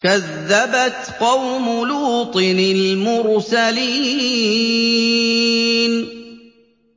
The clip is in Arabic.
كَذَّبَتْ قَوْمُ لُوطٍ الْمُرْسَلِينَ